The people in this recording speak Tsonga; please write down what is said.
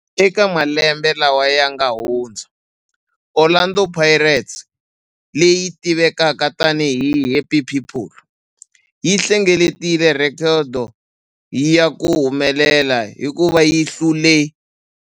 Eka malembe lawa yanga hundza, Orlando Pirates, leyi tivekaka tani hi 'The Happy People', yi hlengeletile rhekhodo ya ku humelela hikuva yi hlule